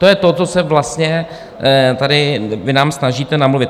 To je to, co se vlastně tady vy nám snažíte namluvit.